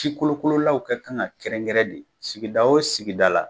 Sikolokololaw ka kan ka kɛrɛnkɛrɛn de sigida o sigida la